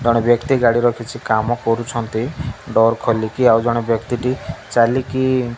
ଜଣେ ବ୍ୟକ୍ତି ଗାଡ଼ିର କିଛି କାମ କରୁଛନ୍ତି ଡୋର୍ ଖୋଲିକି ଆଉ ଜଣେ ବ୍ୟକ୍ତିଟି ଚାଲିକି --